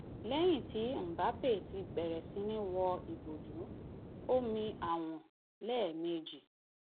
lẹyìn tí mbappe ti bẹrẹ sí ní wo ìbòjú ó mi àwọn lẹẹ méjì